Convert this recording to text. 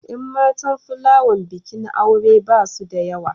Yan matan plawan bikin aure ba su da yawa.